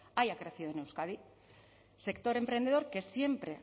haya crecido en euskadi sector emprendedor que siempre